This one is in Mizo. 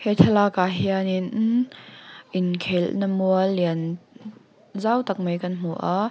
he thlalak ah hian in inkhel na mual lian zau tak mai kan hmu a.